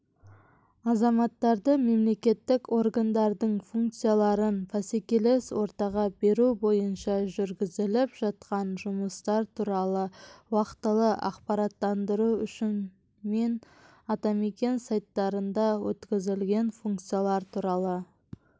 азаматтарды мемлекеттік органдардың функцияларын бәсекелес ортаға беру бойынша жүргізіліп жатқан жұмыстар туралы уақытылы ақпараттандыру үшін мен атамекен сайттарында өткізілген функциялар туралы